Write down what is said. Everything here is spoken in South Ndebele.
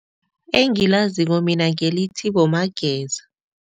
Engilaziko mina ngelithi boMageza.